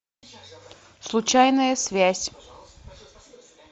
случайная связь